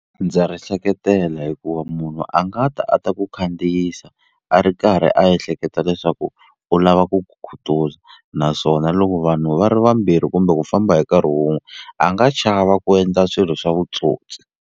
Ndza ri seketela hikuva munhu a nga ta a ta ku khandziyisa a ri karhi a ehleketa leswaku u lava ku ku khutuza naswona loko vanhu va ri vambirhi kumbe ku famba hi nkarhi wun'we a nga chava ku endla swilo swa vutsotsi.